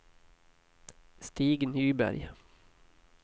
Stig Nyberg